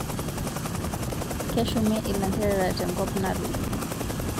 Keshumi ilanterera tenkop natoyio